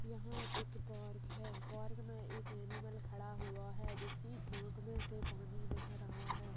यहाँ एक पार्क है पार्क में एक एनिमल खड़ा हुआ है जिसकी आँख में से पानी बह रहा है।